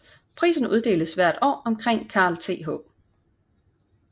Prisen uddeles hvert år omkring Carl Th